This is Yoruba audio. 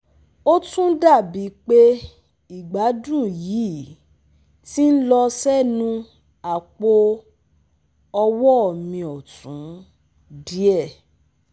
Ó tún dá bi pe igbadun yii ti n lọ sẹ́nu apo-ọwọ̀ mi ọtun díẹ̀